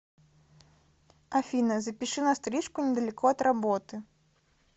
афина запиши на стрижку недалеко от работы